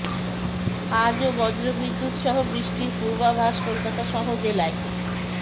আজও বজ্র বিদ্যুৎ সহ বৃষ্টির পূর্বাভাস কলকাতা সহ জেলায়